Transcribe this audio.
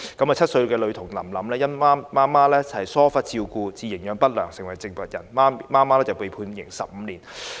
而7歲女童林林，因母親疏忽照顧至營養不良，成為植物人，母親被判刑15年。